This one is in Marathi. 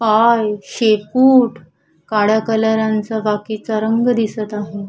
पाय शेपूट काळ्या कलारां चा बाकीचा रंग दिसत आहे.